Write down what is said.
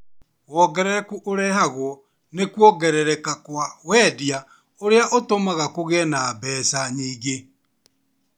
Wongerereku ũrehagwo nĩ kuongerereka kwa wendia ũrĩa ũtũmaga kũgie na mbeca nyingĩ